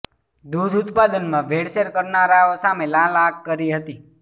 દૂધ ઉત્પાદનમાં ભેળસેળ કરનારાઓ સામે લાલ આંખ કરી હતી